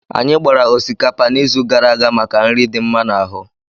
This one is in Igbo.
Anyị gbara osikapa n'izu gara aga maka nri dị mma n'ahu.